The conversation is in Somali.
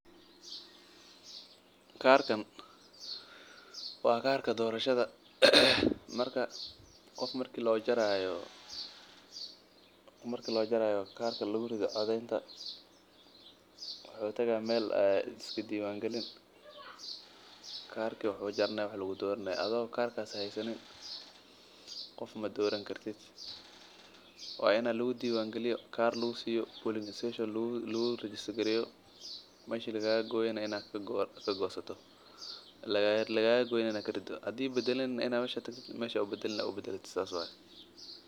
Karkan waa karka dorashada qof marka loo jaraayo karka lagu rido codadka wuxuu tagaaya meesha lisku diiban galiyo meesha lagaaga gooyo aad karido hadaad badalani aad tagto laguu badalo.